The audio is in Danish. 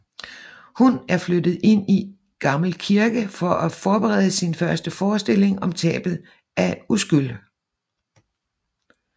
Hun er flyttet ind i gammel kirke for at forberede sin første forestilling om tabet af uskyld